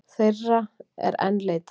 Þeirra er enn leitað